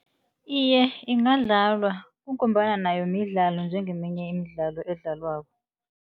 Iye, ingadlalwa kungombana nayo midlalo njengeminye imidlalo edlalwako.